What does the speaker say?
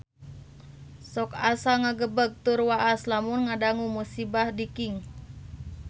Sok asa ngagebeg tur waas lamun ngadangu musibah di Kings